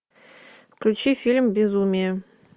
включи фильм безумие